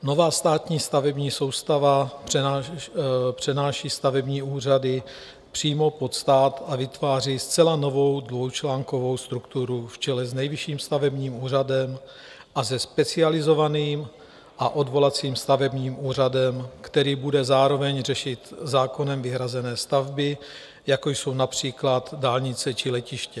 Nová státní stavební soustava přenáší stavební úřady přímo pod stát a vytváří zcela novou dvoučlánkovou strukturu v čele s Nejvyšším stavebním úřadem a se Specializovaným a odvolacím stavebním úřadem, který bude zároveň řešit zákonem vyhrazené stavby, jako jsou například dálnice či letiště.